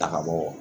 Taka bɔ